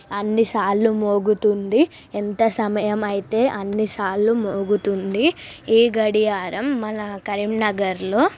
అన్నిసార్లు మోగుతుంది ఎంత సమయం అయితే అన్నిసార్లు మోగుతుంది ఈ గడియారం మన కరీంనగర్ లో--